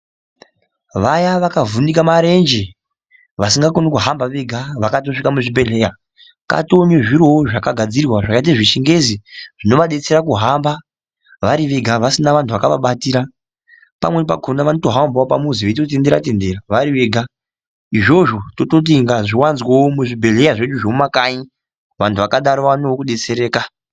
Vayaa vakavhunika marenje vasingakoni kuhamba vega, vakatosvika muzvibhedhleya kwatoonezviro zvakagadzirwa zvakaita zvechingezi. Zvinovadetsera kuhamba vari vega vasina vantu vakavabatira. Pamweni pakhona vanotohambawo pamuzi veitotendera tendera vari vega. Izvozvo tototi ngazviwanzwewo muzvibhedhlera zvedu zvemumakanyi vantu vakadaro vaonewo kudetsereka.